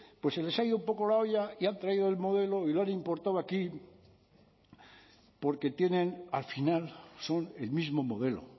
pues se les ha ido un poco la olla y han traído el modelo y lo han importado aquí porque tienen al final son el mismo modelo